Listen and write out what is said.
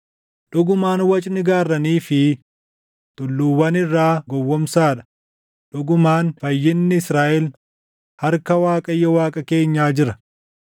Dhugumaan wacni gaarranii fi tulluuwwan irraa gowwoomsaa dha; dhugumaan fayyinni Israaʼel harka Waaqayyo Waaqa keenyaa jira.